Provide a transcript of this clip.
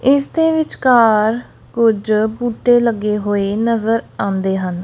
ਇਸ ਦੇ ਵਿਚਕਾਰ ਕੁਝ ਬੂਟੇ ਲੱਗੇ ਹੋਏ ਨਜ਼ਰ ਆਉਂਦੇ ਹਨ।